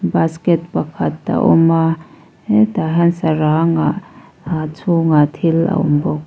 basket pakhat a awm a he tah hian sarang ah a chhungah thil a awm bawk.